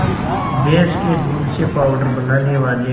भैंस के दूध से पावडर बनाने वाले